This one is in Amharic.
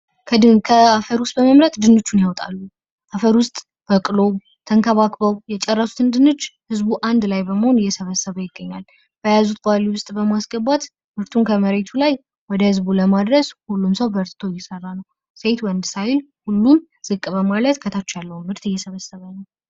ከአፈር ውስጥ በመምረጥ ድንቹን ያወጣሉ። አፈር ውስጥ በቅሎ ተንከባክበው የጨረሱትን ድንች ህዝቡ አንድ ላይ በመሆን እየሰበሰበ ይገኛል። በያዙት ባልዲ ውስጥ በማስገባት ምርቱን ከመሬቱ ላይ ወደ ህዝቡ ለማድረስ ሁሉም ሰው በርትቶ እየሰራ ነወ ።ሴት ወንድ ሳይል ሁሉም ዝቅ በማለት ከታች ያለውን መሰርት እየሰበሰቡ ነው